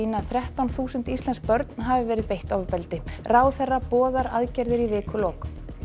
að þrettán þúsund íslensk börn hafi verið beitt ofbeldi ráðherra boðar aðgerðir í vikulok